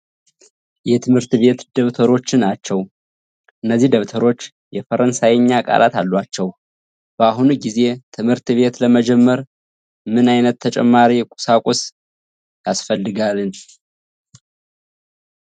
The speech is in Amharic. የትምህርት ቤት ደብተሮችን ናቸው ። እነዚህ ደብተሮች የፈረንሳይኛ ቃላት አሏቸው። በአሁኑ ጊዜ ትምህርት ቤት ለመጀመር ምን ዓይነት ተጨማሪ ቁሳቁስ ያስፈልጋል?